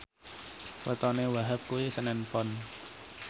wetone Wahhab kuwi senen Pon